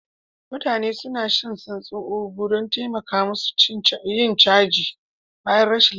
Mutane suna shan santsi Ugu don taimaka musu yin caji bayan rashin lafiya